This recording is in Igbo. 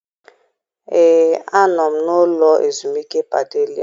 Ee, anọ m n'ụlọ ezumike Padelia.